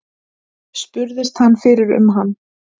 Spurðist hann fyrir um hann.